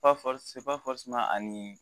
Ani